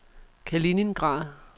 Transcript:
Kaliningrad